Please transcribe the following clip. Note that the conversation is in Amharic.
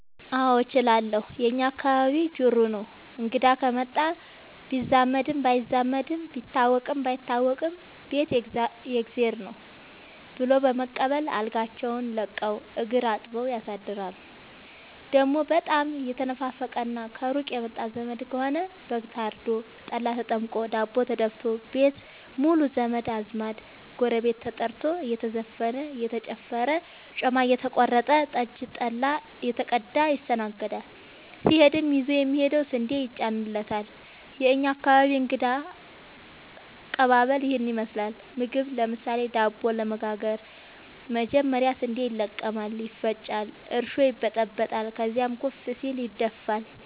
አዎድ እችላለሁ የእኛ አካባቢ ጅሩ ነው። እንግዳ ከመጣ ቢዛመድም ባይዛመድም ቢታወቅም ባይታወቅም ቤት የእግዜር ነው። ብሎ በመቀበል አልጋቸውን ለቀው እግር አጥበው ያሳድራሉ። ደሞ በጣም የተናፈቀና ከሩቅ የመጣ ዘመድ ከሆነ በግ ታርዶ፤ ጠላ ተጠምቆ፤ ዳቦ ተደፋቶ፤ ቤት ሙሉ ዘመድ አዝማድ ጎረቤት ተጠርቶ እየተዘፈነ እየተጨፈረ ጮማ እየተቆረጠ ጠጅ ጠላ እየተቀዳ ይስተናገዳል። ሲሄድም ይዞ የሚሄደው ስንዴ ይጫንለታል። የእኛ አካባቢ እንግዳ ከቀባበል ይህን ይመስላል። ምግብ ለምሳሌ:- ዳቦ ለመጋገር መጀመሪያ ስንዴ ይለቀማል ይፈጫል እርሾ ይበጠበጣል ከዚያም ኩፍ ሲል ይደፋል።